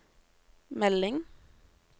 melding